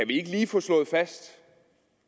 vi ikke lige få slået fast